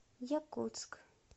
якутск